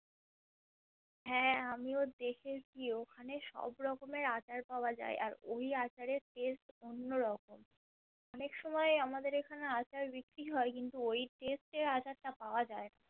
হ্যা, আমিও দেখেছি । ওখানে সব রকমের আচার পাওয়া যায় আর ওই আচারের taste অন্য রকম অনেক সময় আমাদের এখানে আচার বিক্রি হয় কিন্তু ওই taste এর আচার টা পাওয়া যাই না ।